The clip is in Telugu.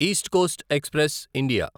east Coast Express India